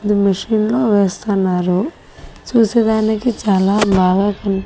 అది మిషిని లో వేస్తున్నారు చూసేదానికి చాలా బాగా కనిప్.